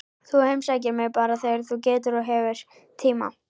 Þú heimsækir mig bara þegar þú getur og hefur tíma.